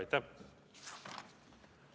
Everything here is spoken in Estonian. Aitäh!